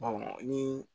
ni